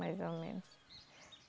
Mais ou menos.